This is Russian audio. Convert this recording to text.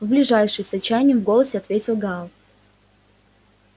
в ближайший с отчаянием в голосе ответил гаал